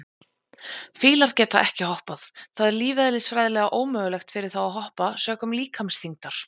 Fílar geta ekki hoppað, það er lífeðlisfræðilega ómögulegt fyrir þá að hoppa sökum líkamsþyngdar.